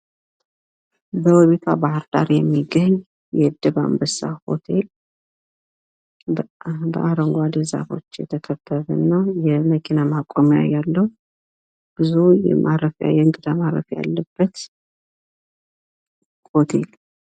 በውቢቷ ባህርዳር የሚገኝ የድብ አንበሳ ሆቴል በአረንጓዴ ዛፎች የተከበበ እና የመኪና ማቆሚያ ያለው ብዙ የእንግዳ ማረፊያ ያለበት ሆቴል።